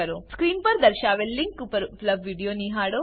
screen પર દર્શાવેલ link પર ઉપલબ્ધ વિડીયો નિહાળો